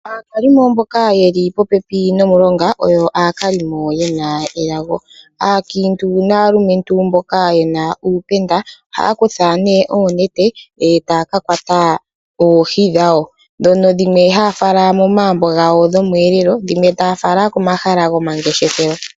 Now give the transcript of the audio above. Aakalimo mboka ye li popepi nomulonga oyo aakalimo ye na elago. Aakiintu naalumentu mboka ye na uupenda ohaya kutha nee oonete e taya ka kwata oohi dhawo, ndhono dhimwe haya fala momagumbo gawo dhomweelelo dhimwe taya fala komahala gomangeshefelo.